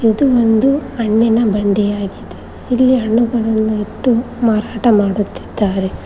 ಇದು ಒಂದು ಹಣ್ಣಿನ ಬಂಡಿಯಾಗಿದೆ ಇಲ್ಲಿ ಹಣ್ಣುಗಳನ್ನು ಇಟ್ಟು ಮಾರಾಟ ಮಾಡುತ್ತಿದ್ದಾರೆ.